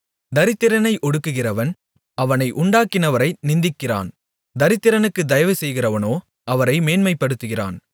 தரித்திரனை ஒடுக்குகிறவன் அவனை உண்டாக்கினவரை நிந்திக்கிறான் தரித்திரனுக்குத் தயவு செய்கிறவனோ அவரை மேன்மைப்படுத்துகிறான்